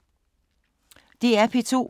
DR P2